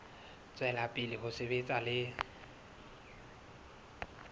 tswela pele ho sebetsa le